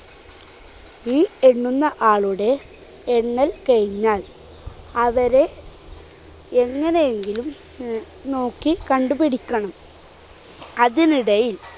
ഈ എണ്ണുന്ന ആളുടെ എണ്ണൽ കഴിഞ്ഞാൽ അവരെ എങ്ങനെയെങ്കിലും നോനോക്കി കണ്ടുപിടിക്കണം. അതിനിടയിൽ